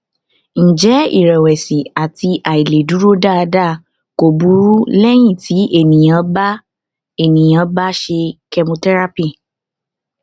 ǹjẹ iìrẹwẹsì àti àìlèdúró dáadáa kò burú lẹyìn tí ènìyàn bá ènìyàn bá ṣe chemotherapy